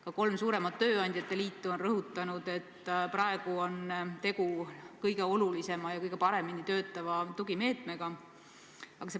Ka kolm suuremat tööandjate liitu on rõhutanud, et selle näol on tegu kõige olulisema ja kõige paremini töötava tugimeetmega.